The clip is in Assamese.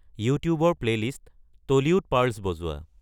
ইউটিউবৰ প্লে'লিষ্ট টলীউড পাৰ্লছ বজোৱা